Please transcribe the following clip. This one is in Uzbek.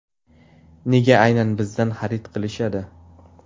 Nega aynan bizdan xarid qilishadi ?